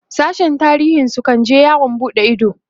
sashen tarihin su kan je yawon buɗe Ido